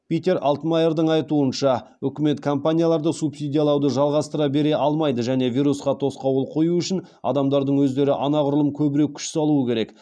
питер алтмайердің айтуынша үкімет компанияларды субсидиялауды жалғастыра бере алмайды және вирусқа тосқауыл қою үшін адамдардың өздері анағұрлым көбірек күш салуы керек